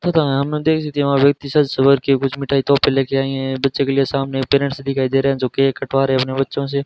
प्रधानमंत्री कुछ मिठाई तोहफे ले के आई हैं बच्चों के लिए सामने पेरेंट्स दिखाई दे रहे हैं जो केक कटवा रहे अपने बच्चों से।